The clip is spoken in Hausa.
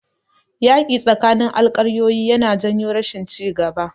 Yaƙi tsakanin alƙaryoyi yana janyo rashin ci gaba.